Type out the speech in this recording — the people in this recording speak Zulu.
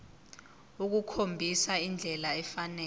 ukukhombisa indlela efanele